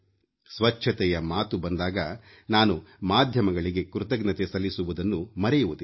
ಸ್ವಚ್ಛತೆಯ ಮಾತು ಬಂದಾಗ ನಾನು ಮಾಧ್ಯಮಗಳಿಗೆ ಕೃತಜ್ಞತೆ ಸಲ್ಲಿಸುವುದನ್ನು ಮರೆಯುವುದಿಲ್ಲ